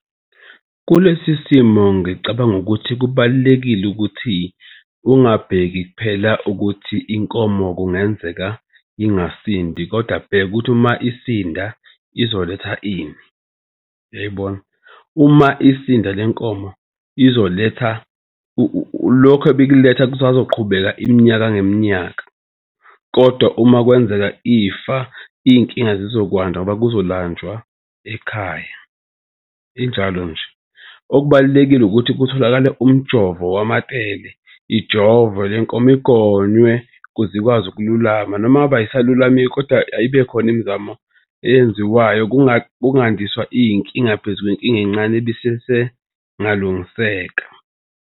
Kulesi simo ngicabanga ukuthi kubalulekile ukuthi ungabheki kuphela ukuthi inkomo kungenzeka ingasindi kodwa bheka ukuthi uma isinda izoletha ini, uyayibona? Uma isizinda le nkomo izoletha lokhu ebikuletha kusazoqhubeka iminyaka ngeminyaka. Kodwa uma kwenzeka ifa iy'nkinga zizokwanda ngoba kuzolanjwa ekhaya. Injalo nje, okubalulekile ukuthi kutholakale umjovo wamatele. Ijove le nkomo igonywe, ukuze ikwazi ukululama noma ngabe ayisalulami-ke kodwa ayibe khona imizamo eyenziwayo. Kungandiswa iy'nkinga phezu kwenkinga encane ebisesengalungiseka.